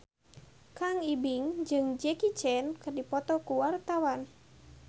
Kang Ibing jeung Jackie Chan keur dipoto ku wartawan